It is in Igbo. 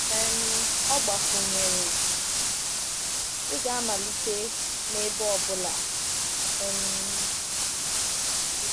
um Ọ gbakwụnyere: “Ị ga-amalite n’ebe ọ bụla.” um